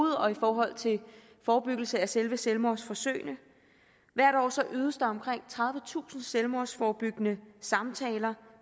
og i forhold til forebyggelse af selve selvmordsforsøgene hvert år ydes der omkring tredivetusind selvmordsforebyggende samtaler